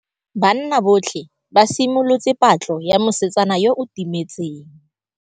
Banna botlhê ba simolotse patlô ya mosetsana yo o timetseng.